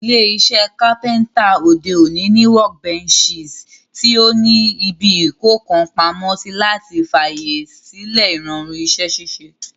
Ilé isẹ́ carpenter òde òní ní workbenches tí o ní ibi ìkókàn pamósí, láti fàyè sílẹ̀ ìrọ̀rùn isẹ́ ṣíṣe